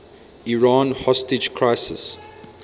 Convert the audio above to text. iran hostage crisis